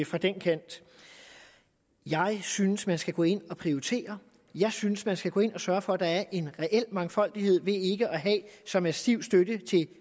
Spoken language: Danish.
fra den kant jeg synes man skal gå ind og prioritere jeg synes at man skal gå ind og sørge for at der er en reel mangfoldighed ved ikke at have en så massiv støtte til